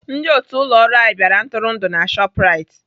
Ndị otu ụlọ ọrụ anyị bịara ntụrụndụ na Shoprite.